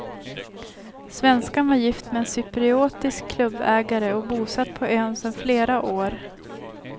Svenskan var gift med en cypriotisk klubbägare och bosatt på ön sedan flera år.